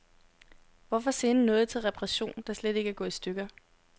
Hvorfor sende noget til reparation, der slet ikke er gået i stykker.